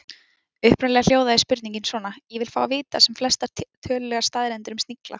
Upprunalega hljóðaði spurningin svona: Ég vil fá að vita sem flestar tölulegar staðreyndir um snigla.